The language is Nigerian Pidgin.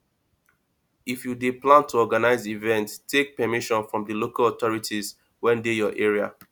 if you dey plan to organise event take permission from di local authorities wey dey your area